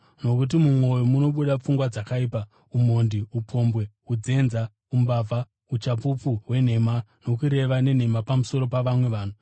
Nokuti mumwoyo munobuda pfungwa dzakaipa, umhondi, upombwe, unzenza, umbavha, uchapupu hwenhema nokureva nhema pamusoro pavamwe vanhu.